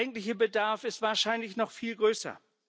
Der eigentliche Bedarf ist wahrscheinlich noch viel größer.